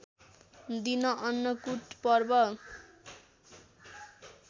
दिन अन्नकुट पर्व